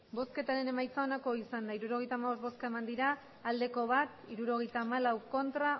emandako botoak hirurogeita hamabost bai bat ez hirurogeita hamalau